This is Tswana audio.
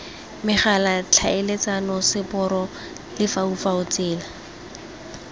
megala tlhaeletsano seporo lefaufau tsela